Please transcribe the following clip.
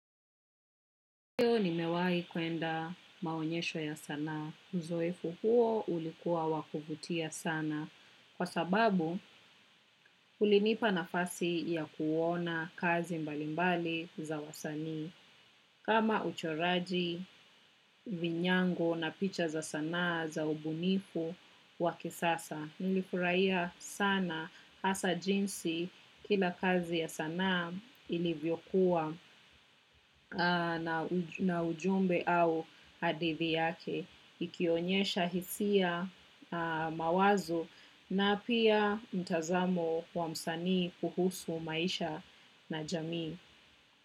Leo nimewai kuenda maonyesho ya sanaa. Uzoefu huo ulikuwa wa kuvutia sana. Kwa sababu, ulinipa nafasi ya kuona kazi mbalimbali za wasanii. Kama uchoraji vinyango na picha za sanaa za ubunifu wa kisasa. Nilifurahia sana hasa jinsi kila kazi ya sanaa ilivyokuwa na ujumbe au hadithi yake. Ikionyesha hisia mawazo na pia mtazamo wa msanii kuhusu maisha na jamii.